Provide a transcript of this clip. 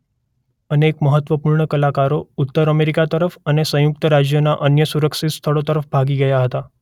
અનેક મહત્વપૂર્ણ કલાકારો ઉત્તર અમેરિકા તરફ અને સંયુક્ત રાજ્યોના અન્ય સુરક્ષિત સ્થળો તરફ ભાગી ગયા હતા.